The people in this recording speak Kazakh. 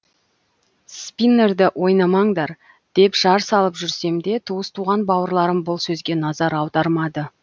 спиннерді ойнамаңдар деп жар салып жүрсем де туыс туған бауырларым бұл сөзге назар аудармады